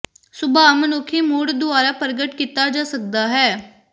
ਸੁਭਾਅ ਮਨੁੱਖੀ ਮੂਡ ਦੁਆਰਾ ਪ੍ਰਗਟ ਕੀਤਾ ਜਾ ਸਕਦਾ ਹੈ